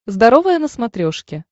здоровое на смотрешке